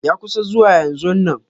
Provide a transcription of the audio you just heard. Ya kusa zuwa yanzonnan.